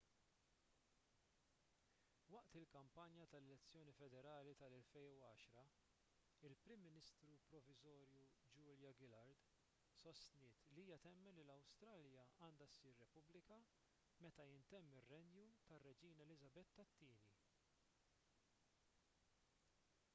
waqt il-kampanja tal-elezzjoni federali tal-2010 il-prim ministru proviżorju julia gillard sostniet li hija temmen li l-awstralja għandha ssir repubblika meta jintemm ir-renju tar-reġina eliżabetta ii